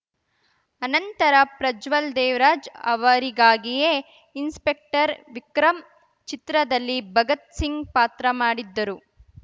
ಅನಂತರ ಪ್ರಜ್ವಲ್‌ ದೇವರಾಜ್‌ ಅವರಿಗಾಗಿಯೇ ಇನ್ಸ್‌ಪೆಕ್ಟರ್‌ ವಿಕ್ರಂ ಚಿತ್ರದಲ್ಲಿ ಭಗತ್‌ ಸಿಂಗ್‌ ಪಾತ್ರ ಮಾಡಿದ್ದರು